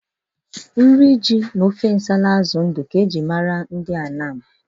Nri ji na ofe nsala azụ ndụ ka e ji mara ndị Anam.